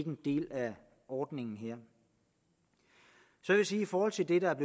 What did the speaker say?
en del af ordningen her i forhold til det der er